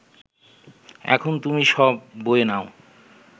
এখন তুমি সব বয়ে নাও